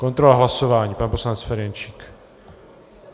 Kontrola hlasování - pan poslanec Ferjenčík.